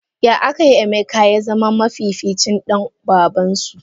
Ya akai Emeka yazama mafificin Dan babansu?